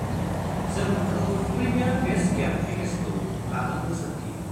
जों नोंखौ premium base camp पेकेजखौ लानो बोसोन होयो।